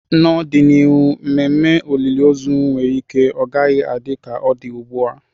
N'ọdịnihu, ememe olili ozu nwere ike ọ gaghị adị ka ọ dị ugbu a.